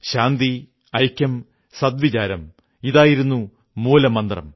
ശാന്തി ഐക്യം സദ് വിചാരം ഇതായിരുന്നു മൂലമന്ത്രം